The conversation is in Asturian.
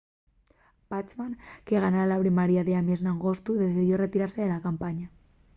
bachmann que ganara la primaria d’ames n’agostu decidió retirase de la campaña